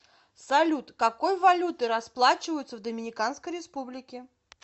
салют какой валютой расплачиваются в доминиканской республике